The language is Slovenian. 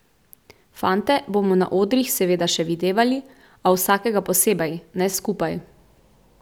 Fante bomo na odrih seveda še videvali, a vsakega posebej, ne skupaj.